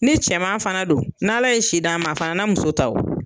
Ni cɛman fana don, n' ala ye si d'a ma a fana muso ta wo.